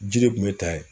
Jiri tun bɛ ta yen